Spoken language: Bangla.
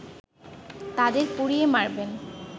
তাদের পুড়িয়ে মারবেন